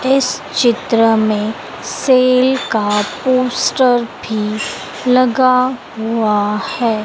इस चित्र में सेल का पोस्टर भी लगा हुआ है।